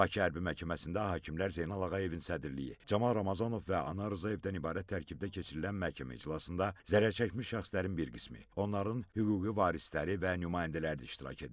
Bakı Hərbi Məhkəməsində hakimlər Zeynal Ağayevin sədrliyi, Camal Ramazanov və Anar Rzayevdən ibarət tərkibdə keçirilən məhkəmə iclasında zərərçəkmiş şəxslərin bir qismi, onların hüquqi varisləri və nümayəndələri də iştirak edirlər.